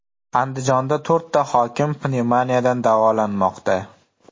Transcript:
Andijonda to‘rtta hokim pnevmoniyadan davolanmoqda.